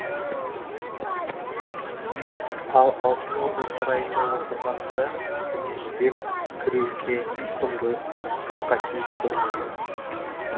ал алтын орда сарайында отырғанында үстіне жібек кіреуке құндыз торқа киіп көрмеген